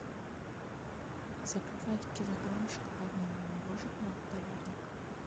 заказать килограмм шоколадного мороженого полярник